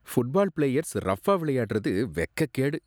Football players ரப்ஃபா விளையாடுறது வெக்கக்கேடு.